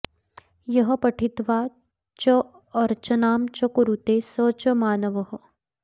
यः पठित्वा चार्चनां च कुरुते स च मानवः